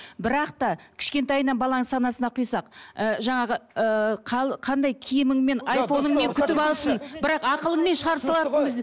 бірақ та кішкентайынан баланың санасына құйсақ ы жаңағы ыыы қандай киіміңмен айфоныңмен күтіп алсын бірақ ақылыңмен шығарып салатынбыз